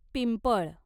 पिंपळ